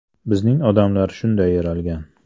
Bizning odamlar shunday yaralgan.